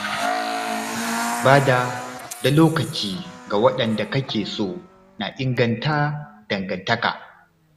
Bada da lokaci ga waɗanda kake so na inganta dangantaka.